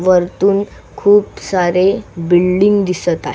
वरतून खूप सारे बिल्डिंग दिसत आहे.